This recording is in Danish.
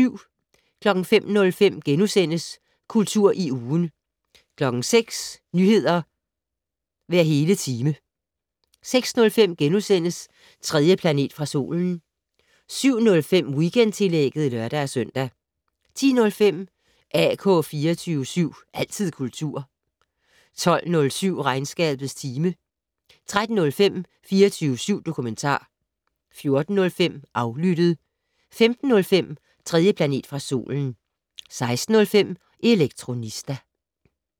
05:05: Kultur i ugen * 06:00: Nyheder hver hele time 06:05: 3. planet fra solen * 07:05: Weekendtillægget (lør-søn) 10:05: AK 24syv. Altid kultur 12:07: Regnskabets time 13:05: 24syv dokumentar 14:05: Aflyttet 15:05: 3. planet fra solen 16:05: Elektronista